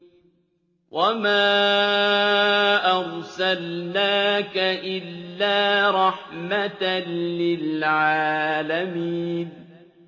وَمَا أَرْسَلْنَاكَ إِلَّا رَحْمَةً لِّلْعَالَمِينَ